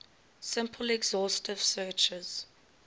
simple exhaustive searches